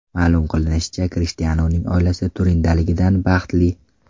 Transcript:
Ma’lum qilinishicha, Krishtianuning oilasi Turindaligidan baxtli.